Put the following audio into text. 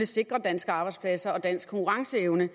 sikre danske arbejdspladser og dansk konkurrenceevne